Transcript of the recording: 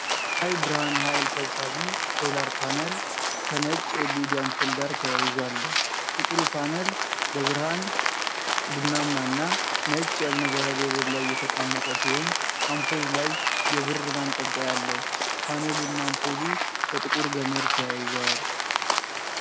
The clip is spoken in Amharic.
የፀሐይ ብርሃን ኃይል ሰብሳቢ (ሶላር ፓነል)፣ ከነጭ የኤልኢዲ አምፖል ጋር ተያይዞ አለ። ጥቁሩ ፓኔል በብርሃን ቡናማ እና ነጭ የእብነበረድ ወለል ላይ የተቀመጠ ሲሆን አምፖሉ ላይ የብር ማንጠልጠያ አለው። ፓኔሉና አምፖሉ በጥቁር ገመድ ተያይዘዋል።